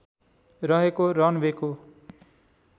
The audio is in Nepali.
रहेको रन वेको